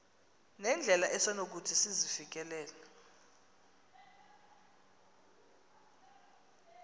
nendlela esonokuthi sizifikelele